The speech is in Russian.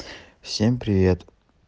всем привет